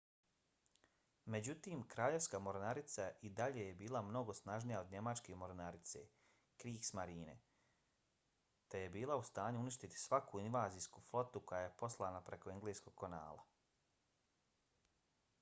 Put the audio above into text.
međutim kraljevska mornarica i dalje je bila mnogo snažnija od njemačke mornarice kriegsmarine te je bila u stanju uništiti svaku invazijsku flotu koja je poslana preko engleskog kanala